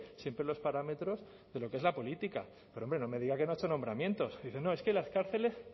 siempre en los parámetros de lo que es la política pero hombre no me diga que no ha hecho nombramientos dice no es que las cárceles